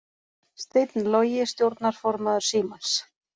Steinn Logi stjórnarformaður Símans